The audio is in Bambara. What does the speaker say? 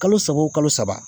Kalo saba o kalo saba